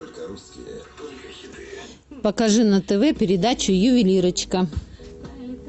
покажи на тв передачу ювелирочка